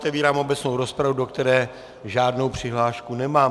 Otevírám obecnou rozpravu, do které žádnou přihlášku nemám.